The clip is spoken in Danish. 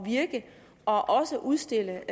virke og også udstille